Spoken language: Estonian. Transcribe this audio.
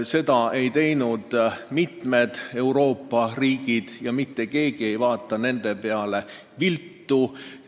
Seda ei teinud mitu Euroopa riiki ja mitte keegi ei vaata nende peale viltu.